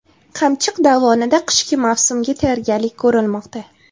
Qamchiq dovonida qishki mavsumga tayyorgarlik ko‘rilmoqda.